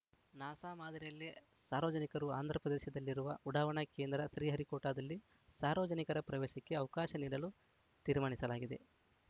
NASA ಮಾದರಿಯಲ್ಲೇ ಸಾರ್ವಜನಿಕರಿಗೆ ಆಂಧ್ರಪ್ರದೇಶದಲ್ಲಿರುವ ಉಡಾವಣಾ ಕೇಂದ್ರ ಶ್ರೀಹರಿಕೋಟದಲ್ಲಿ ಸಾರ್ವಜನಿಕರ ಪ್ರವೇಶಕ್ಕೆ ಅವಕಾಶ ನೀಡಲು ತೀರ್ಮಾನಿಸಲಾಗಿದೆ